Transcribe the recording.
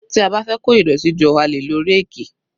Tí a bá fẹ́ kó ìdọ̀tí jọ a lè lo ráàkì